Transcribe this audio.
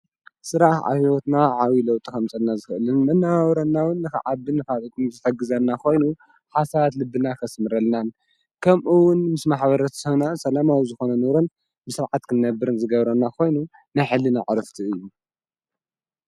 ሥራኣህ ኣሕይወትና ዓዊ ለውጥ ኸምጽና ዘህእልን ናውረናዉን ኸዓብን ፋልጡን ዝተግዘና ኾይኑ ሓሳባት ልብና ኸስምረልናን ከምኡውን ምስ ማኅበረት ስና ሰለማዊ ዝኾነ ኑርን ብሥርዓት ክንነብርን ዝገብረና ኾይኑ ናይኅሊን ኣዕርፍቲ እዩ።